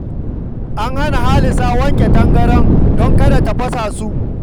An hana Halisa wanke tangaraye don kada ta fasa su